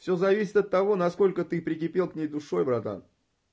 всё зависит от того насколько ты прикипел к ней душой братан